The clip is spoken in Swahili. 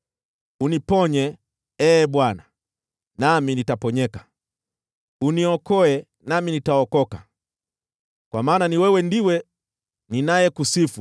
Uniponye, Ee Bwana , nami nitaponyeka; uniokoe nami nitaokoka, kwa maana wewe ndiwe ninayekusifu.